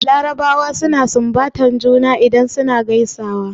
Larabawa suna sunbatar juna idan suna gaisuwa.